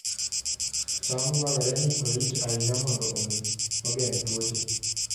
cham dwarore ni orit ahinya mondo omi ogeng' tuoche